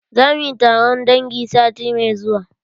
Za mu yi taron dangi sati mai zuwa.